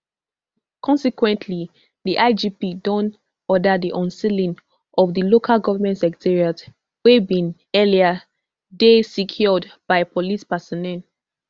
consequently di igp don order di unsealing of di local government secretariats wey bin earlier dey secured by police personnel